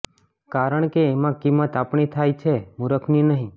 કારણ કે એમાં કિંમત આપણી થાય છે મૂરખની નહીં